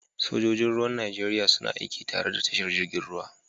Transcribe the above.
Sojoji Ruwan Najeriya suna aiki tare da tashar jirgin ruwan.